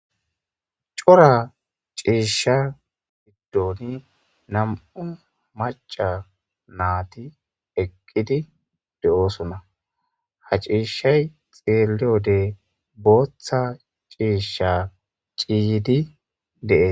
Coora ciisha giddon nam'u macca nayti eqqidi deosona ha cishshay xelliyode boththa cishsha ciiyidi de'es.